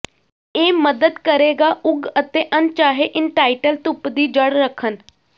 ਇਹ ਮਦਦ ਕਰੇਗਾ ਉਗ ਅਤੇ ਅਣਚਾਹੇ ਇੰਟਾਈਟਲ ਧੂਪ ਦੀ ਜੜ੍ਹ ਰੱਖਣ